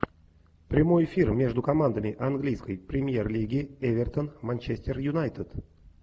прямой эфир между командами английской премьер лиги эвертон манчестер юнайтед